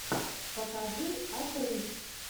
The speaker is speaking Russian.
покажи отрыв